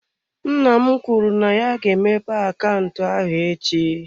Nna m kwuru na ya ga-emepe akaụntụ ahụ echi.